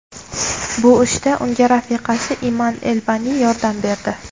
Bu ishda unga rafiqasi Iman Elbani yordam berdi.